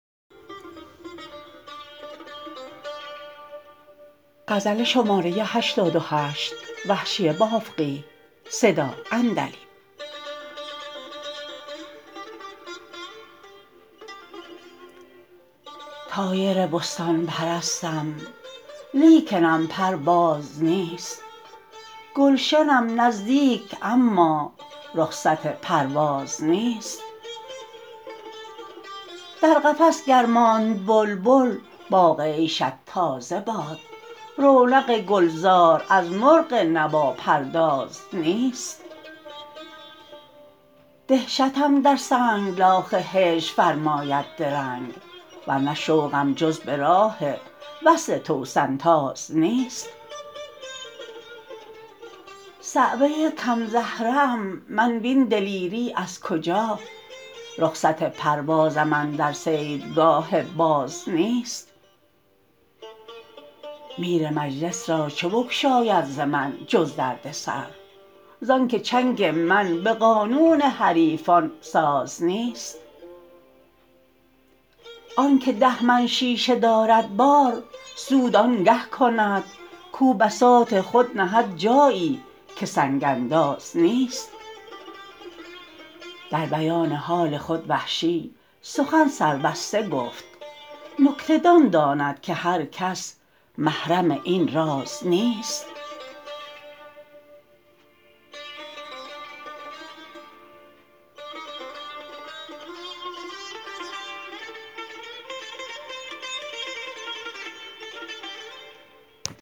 طایر بستان پرستم لیکنم پر باز نیست گلشنم نزدیک اما رخصت پرواز نیست در قفس گر ماند بلبل باغ عیشت تازه باد رونق گلزار از مرغ نواپرداز نیست دهشتم در سنگلاخ هجر فرماید درنگ ورنه شوقم جز به راه وصل توسن تاز نیست صعوه کم زهره ام من وین دلیری از کجا رخصت پروازم اندر صیدگاه باز نیست میر مجلس راچه بگشاید ز من جز دردسر زانکه چنگ من به قانون حریفان ساز نیست آنکه ده من شیشه دارد بار سود آنگه کند کو بساط خود نهد جایی که سنگ انداز نیست در بیان حال خود وحشی سخن سربسته گفت نکته دان داند که هر کس محرم این راز نیست